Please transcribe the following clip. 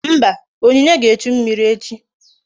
Mba, onyinye ga-echu mmiri echi